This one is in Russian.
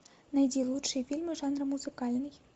найди лучшие фильмы жанра музыкальный